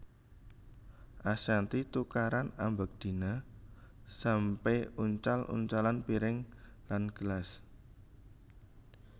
Ashanty tukaran ambek Dina sampe uncal uncalan piring lan gelas